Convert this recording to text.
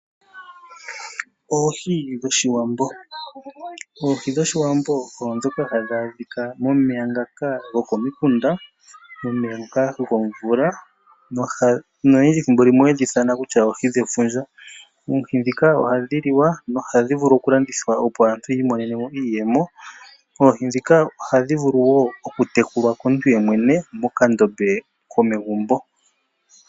Oohi dhOshiwambo Oohi dhOshiwambo oondhoka hadhi adhika momeya ngoka gokomikunda, omeya ngoka gomvula noyendji ethimbo limwe ohaye dhi ithana kutya oohi dhefundja. Oohi ndhika ohadhi liwa nohadhi vulu okulandithwa, opo aantu yi imonene mo iiyemo,. Oohi ndhika ohadhi vulu wo okutekulwa komuntu yemwene mokandombe komegumbo.